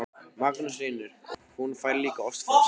Magnús Hlynur: Og hún fær líka ost hjá þér?